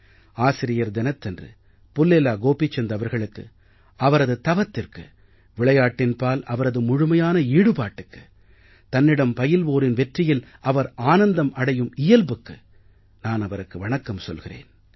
ஆசிரியர் தினத்தன்று புல்லேலா கோபிசந்த் அவர்களுக்கு அவரது தவத்திற்கு விளையாட்டின்பால் அவரது முழுமையான ஈடுபாட்டுக்கு தன்னிடம் பயில்வோரின் வெற்றியில் அவர் ஆனந்தம் அடையும் இயல்புக்கு நான் அவருக்கு வணக்கம் சொல்கிறேன்